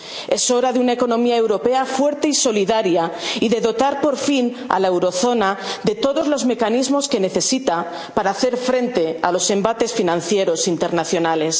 alquileres. Es hora de una economía europea fuerte y solidaria, y de dotar, por fin, a la eurozona de todos los mecanismos que necesita para hacer frente a los embates financieros internacionales.